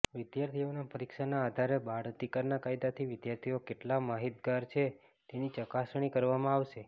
વિદ્યાર્થીઓની પરીક્ષાના આધારે બાળ અધિકારના કાયદાથી વિદ્યાર્થીઓ કેટલા માહિતગાર છે તેની ચકાસણી કરવામાં આવશે